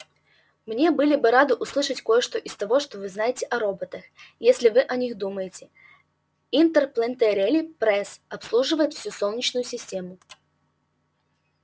мне были бы рады услышать кое что из того что вы знаете о роботах что вы о них думаете интерплэнетери пресс обслуживает всю солнечную систему